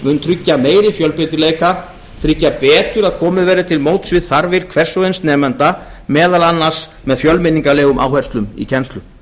mun tryggja meiri fjölbreytileika tryggja betur að komið verði til móts við þarfir hvers og eins nemanda meðal annars með fjölmenningarlegum áherslum í kennslu